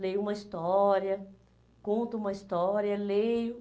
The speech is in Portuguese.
leio uma história, conto uma história, leio.